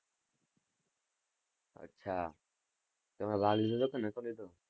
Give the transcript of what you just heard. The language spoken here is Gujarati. અચ્છા તમે ભાગ લીધો તો કે નહતો લીધો.